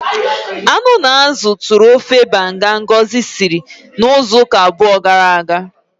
Anu na azụ tụrụ ofe banga Ngozi siri izu ụka abụọ gara aga.